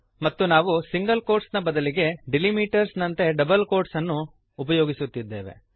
ಮತ್ತು ನಾವು single quotes ನ ಬದಲಿಗೆ ಡೆಲಿಮಿಟರ್ಸ್ ಡೀಲಿಮಿಟರ್ಸ್ ನಂತೆ ಡಬಲ್ ಕೋಟ್ಸನ್ನು ಉಪಯೋಗಿಸುತ್ತಿದ್ದೇವೆ